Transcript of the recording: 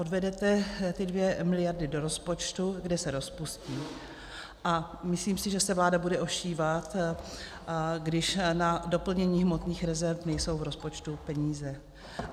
Odvedete ty 2 miliardy do rozpočtu, kde se rozpustí, a myslím si, že se vláda bude ošívat, když na doplnění hmotných rezerv nejsou v rozpočtu peníze.